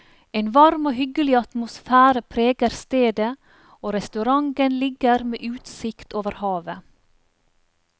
En varm og hyggelig atmosfære preger stedet, og restauranten ligger med utsikt over havet.